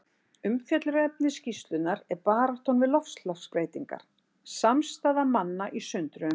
Umfjöllunarefni skýrslunnar er Baráttan við loftslagsbreytingar: Samstaða manna í sundruðum heimi.